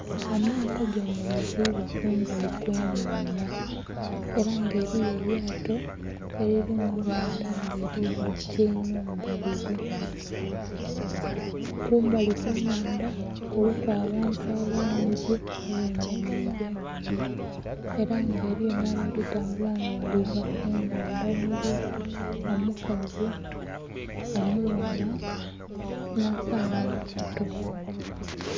Amato gemerezeibwa kumbali okwenhandha era nga eriyo elyato elili mu nhandha nga eriyo aba tyaimemu babiri. Kumbali okwe nhandha kuliku abantu abangi abemereire ku era nga eriyo nhabali kutambula nga baliva ku nhandha omuli omukazi, omughala na kaana akato.